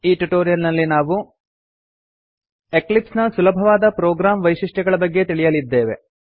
ಈ ಟ್ಯುಟೋರಿಯಲ್ ನಲ್ಲಿ ನಾವು ಎಕ್ಲಿಪ್ಸ್ ನ ಸುಲಭವಾದ ಪ್ರೊಗ್ರಾಮ್ ವೈಶಿಷ್ಟ್ಯಗಳ ಬಗ್ಗೆ ತಿಳಿಯಲಿದ್ದೇವೆ